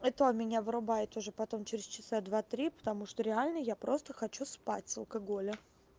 это меня вырубает уже потом через часа два три потому что реально я просто хочу спать с алкоголя